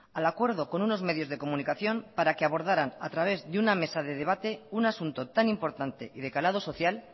al acuerdo con unos medios de comunicación para que abordaran a través de una mesa de debate un asunto tan importante y de calado social